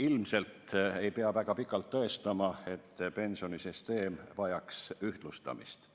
Ilmselt ei pea väga pikalt tõestama, et pensionisüsteem vajaks ühtlustamist,